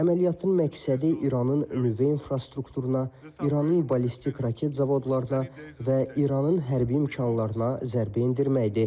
Əməliyyatın məqsədi İranın muzey infrastrukturuna, İranın ballistik raket zavodlarına və İranın hərbi imkanlarına zərbə endirməkdir.